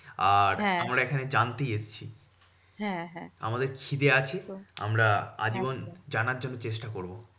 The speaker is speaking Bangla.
আর আমরা এখানে জানতেই এসেছি আমাদের খিদে আছে আমরা আজীবন জানার জন্য চেষ্টা করবো।